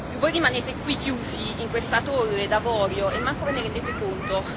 Voi rimanete qui chiusi in questa torre d'avorio e neanche ve ne rendete conto.